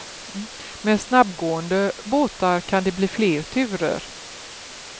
Med snabbgående båtar kan det bli fler turer.